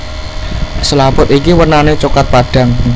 Selaput iki wernané coklat padhang